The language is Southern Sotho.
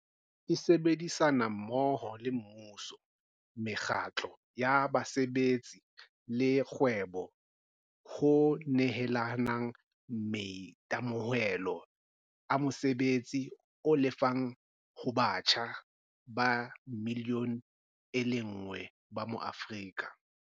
E sebedisana mmoho le mmuso, mekgatlo ya basebetsi le kgwebo ho nehelanang maitemohelo a mosebetsi o lefang ho batjha ba million e lenngwe ba mo-Aforika.